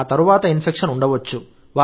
ఆ తరువాత ఇన్ఫెక్షన్ ఉండవచ్చు